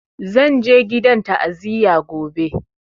Zan je gidan ta'aziyar gobe